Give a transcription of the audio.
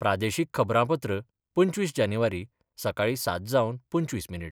प्रादेशीक खबरांपत्र पंचवीस जानेवारी, सकाळी सात जावन पंचवीस मिनीट